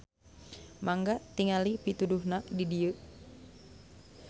Mangga tingali pituduhna di dieu.